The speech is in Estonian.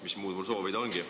Mis muud mul soovida ongi.